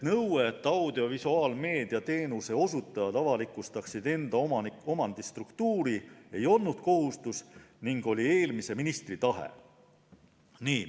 Nõue, et audiovisuaalmeedia teenuse osutajad avalikustaksid enda omandistruktuuri, ei olnud kohustus, vaid see oli eelmise ministri tahe.